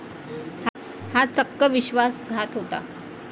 हा चक्क विश्वासघात होता.